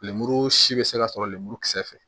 Lemuru si bɛ se ka sɔrɔ lemurukisɛ fɛ